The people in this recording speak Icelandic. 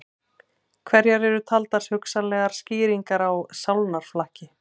Hverjar eru taldar hugsanlegar skýringar á sálnaflakki?